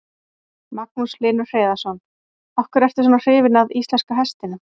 Magnús Hlynur Hreiðarsson: Af hverju ertu svona hrifin að íslenska hestinum?